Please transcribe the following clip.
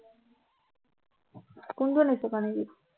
কোনটো নিচুকনি গীত